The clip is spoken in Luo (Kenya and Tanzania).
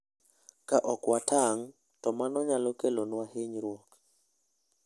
Ka ok watang', to mano nyalo kelonwa hinyruok.